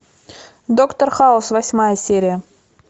доктор хаус восьмая серия